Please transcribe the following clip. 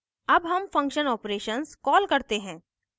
अब हम function operations call करते हैं